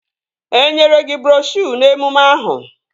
Enyere gị broshuo n'emume ahụ?